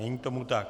Není tomu tak.